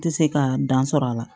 N tɛ se ka dan sɔrɔ a la